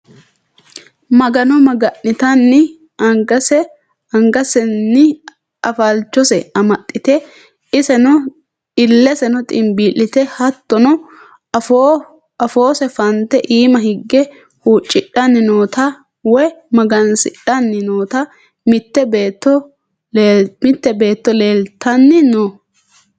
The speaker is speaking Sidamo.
magano magannitanni angasenni afalchose amaxxite, illeseno ximbii'lite, hattono afoose fante iima higge huucidhanni noota woyi magansidhanni noota mitte beetto leeltanni no.